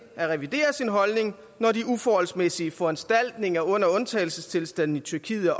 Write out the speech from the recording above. at revidere sin holdning når de uforholdsmæssige foranstaltninger under undtagelsestilstanden i tyrkiet